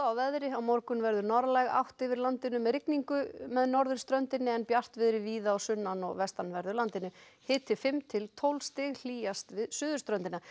veðri á morgun verður norðlæg átt yfir landinu með rigningu með norðurströndinni en bjartviðri víða á sunnan og vestanverðu landinu hiti fimm til tólf stig hlýjast við suðurströndina